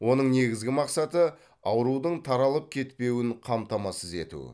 оның негізгі мақсаты аурудың таралып кетпеуін қамтамасыз ету